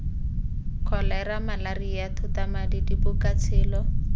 kholera malaria thotamadi diboko tshelo